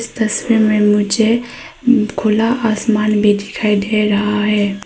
तस्वीर में मुझे खुला आसमान भी दिखाई दे रहा है।